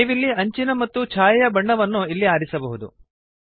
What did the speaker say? ನೀವಿಲ್ಲಿ ಅಂಚಿನ ಮತ್ತು ಛಾಯೆಯ ಬಣ್ಣವನ್ನು ಇಲ್ಲಿ ಆರಿಸಬಹುದು